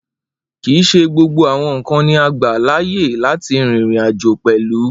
Kii ṣe gbógbó àwọn nkán ni a gbà láàyè láti rìn ìrìn-àjò pẹlú.